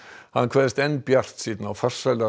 hann kveðst enn bjartsýnn á farsæla